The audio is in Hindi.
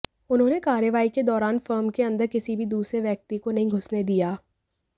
उन्होंने कार्रवाई के दौरान फर्म के अंदर किसी भी दूसरे व्यक्ति को नहीं घुसने दिया